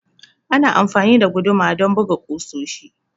Ana amfani da guduma don buga kusoshi.